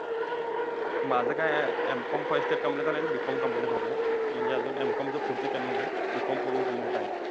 माझं काय हे, M Com, first year complete झालंय. आणि B Com, complete झालंय. म्हणजे अजून M Com च पुढचं केलेलं नाही, B Com, complete पूर्ण आहे.